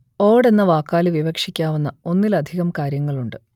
ഓട് എന്ന വാക്കാൽ വിവക്ഷിക്കാവുന്ന ഒന്നിലധികം കാര്യങ്ങളുണ്ട്